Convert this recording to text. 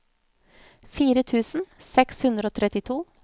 fire tusen seks hundre og trettito